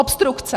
Obstrukce!